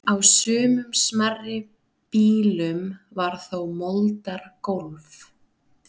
Á sumum smærri býlum var þó moldargólf.